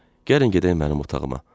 Gəlin gedək mənim otağıma.